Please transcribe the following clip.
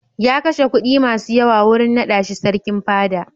Ya kashe kuɗi masu yawa wurin naɗa shi Sarkin Fada.